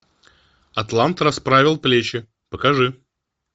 атлант расправил плечи покажи